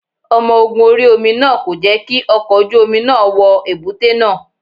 Omo ogun orí omi náà kò jẹ́ kí ọkọ̀ ojú omi náà wọ èbúté náà.